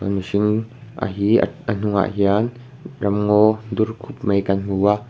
mihring a hi ah ahnung ah hian ramngaw dur khup mai kan hmu a.